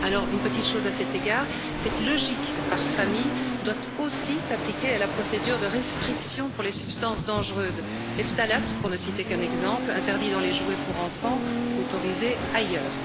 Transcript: Une petite chose à cet égard cette logique par famille doit aussi s'appliquer à la procédure de restriction pour les substances dangereuses, les phtalates, pour ne citer qu'un exemple, interdits dans les jouets pour enfants, autorisés ailleurs.